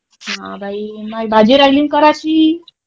हा बाई मायी भाजी रायली ना करायची.